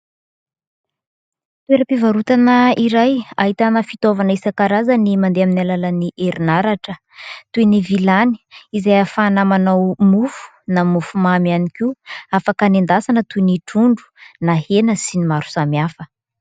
Toeram-pivarotana iray ahitana fitaovana isan-karazany mandeha amin'ny alalan'ny herinaratra toy ny vilany izay ahafahana manao mofo na mofomamy ihany koa. Afaka anendasana toy ny trondro na hena sy ny maro samihafa.